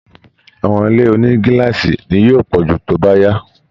Àwọn ilé oni gíláàsì ni yóò pọ̀ jù tó bá yá